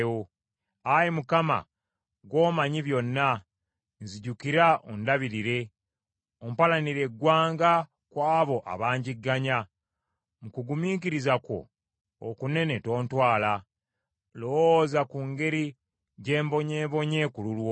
Ayi Mukama ggwe omanyi byonna. Nzijukira ondabirire. Ompalanire eggwanga ku abo abanjigganya. Mu kugumiikiriza kwo okunene tontwala. Lowooza ku ngeri gye mbonyeebonye ku lulwo.